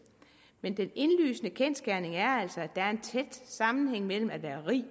men den indlysende kendsgerning er altså at der er en tæt sammenhæng mellem at være rig